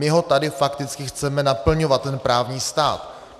My ho tady fakticky chceme naplňovat, ten právní stát.